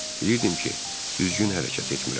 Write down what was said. Bilirdim ki, düzgün hərəkət etmirəm.